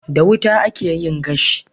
Da wuta akeyin gashi